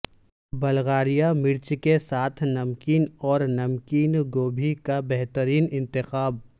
Bulgaria مرچ کے ساتھ نمکین اور نمکین گوبھی کا بہترین انتخاب